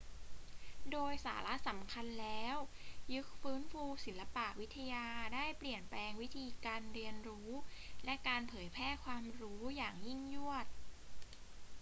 โดยสาระสำคัญแล้ว ยุคฟื้นฟูศิลปวิทยาได้เปลี่ยนแปลงวิธีการเรียนรู้และการเผยแพร่ความรู้อย่างยิ่งยวด